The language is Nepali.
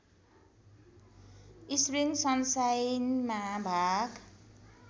स्प्रिङ सनसाइनमा भाग